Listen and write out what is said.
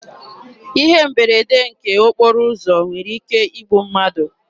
Ihe mberede nke okporo ụzọ nwere ike igbu mmadụ.